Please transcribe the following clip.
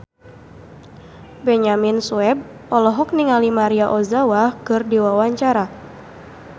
Benyamin Sueb olohok ningali Maria Ozawa keur diwawancara